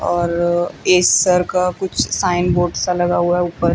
और एसर का कुछ साइन बोर्ड सा लगा हुआ हैं ऊपर।